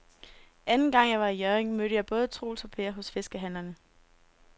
Anden gang jeg var i Hjørring, mødte jeg både Troels og Per hos fiskehandlerne.